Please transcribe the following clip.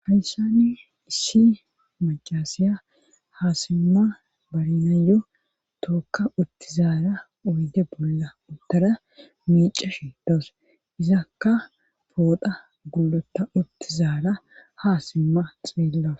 hayssani issi macassiya haasimma barinayo tookka uttizaara uyde bolla uttara miicashi dawuse izakka poodha gulota uttizaara haasimma xeellawu